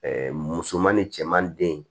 musoman ni cɛman den